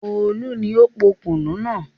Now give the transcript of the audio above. Olú ni ó po kùnú náà.